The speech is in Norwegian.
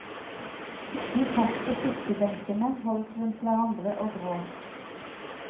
De satt på kirkebenkene, holdt rundt hverandre og gråt.